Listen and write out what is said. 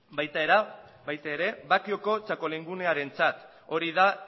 baita bakioko txakoligunearentzat ere hori da